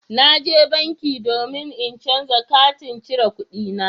Na je banki domin in canza katin cire kuɗina